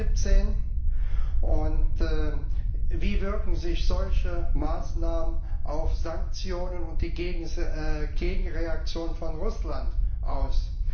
17? Wie wirken sich solche Maßnahmen auf Sanktionen und die Gegenreaktion von Russland aus?